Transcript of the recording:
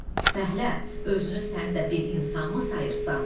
Fəhlə, özünü sən də bir insanmı sayırsan?